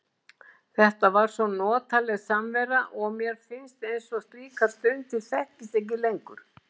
Þetta var svo notaleg samvera og mér finnst eins og slíkar stundir þekkist ekki lengur.